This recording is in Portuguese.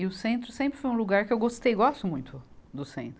E o centro sempre foi um lugar que eu gostei, gosto muito do centro.